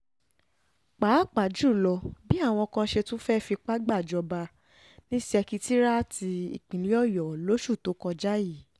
pàápàá jù lọ bí àwọn kan ṣe tún fẹ́ẹ́ fipá gbàjọba ní ṣèkẹtiráàtì ìpínlẹ̀ ọ̀yọ́ lóṣù tó kọjá yìí